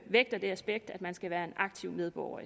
vægter det aspekt at man skal være en aktiv medborger